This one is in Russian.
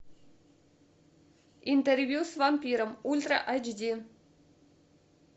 интервью с вампиром ультра эйч ди